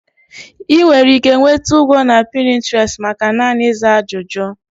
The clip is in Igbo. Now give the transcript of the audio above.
Ị nwere ike nweta ụgwọ na Pinterest maka naanị ịza ajụjụ.